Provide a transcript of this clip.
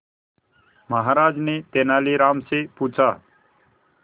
महाराज ने तेनालीराम से पूछा